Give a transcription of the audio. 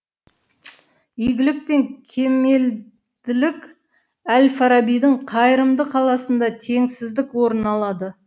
игілік пен кемелділік әл фарабидің қайырымды қаласында теңсіздік орын алады